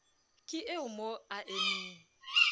ke eo mo a emeng